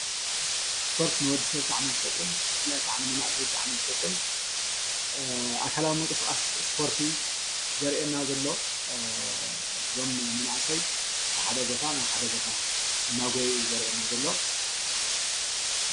ስፖርት ንወዲሰብ ብጣዕሚ'ዩ ዝጠቅም ብፍላይ ከዓ ንመናእሰይ ብጣዕሚ ዝጠቅም ኣካላዊ ምንቅስቃስ ስፖርቲ ዘሪአና ዘሎ ዞም መናእሰይ ካብ ሓደ ቦታ ናብ ሓደ ቦታ እናጎየዩ እዩ ዘሪአና ዘሎ።